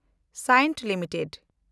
Cyient limited